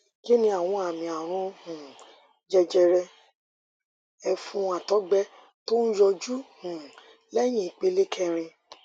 kí ni àwọn àmì àrùn um jẹjẹrẹ ẹfun àtọgbẹ tó ń yọjú um léyìn ìpele kẹrin